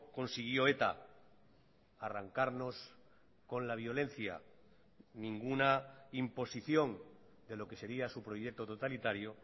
consiguió eta arrancarnos con la violencia ninguna imposición de lo que sería su proyecto totalitario